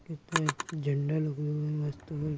झंडा लगा हुआ है मस्त --